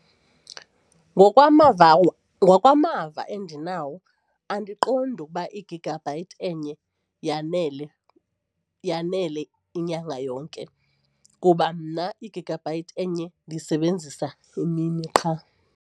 Ngokwamava ngokwamava endinawo andiqondi ukuba i-gigabyte enye yanele, yanele inyanga yonke kuba mna i-gigabyte enye ndiysebenzisa imini qha.